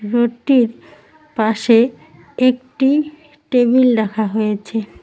ঘরটির পাশে একটি টেবিল রাখা হয়েছে।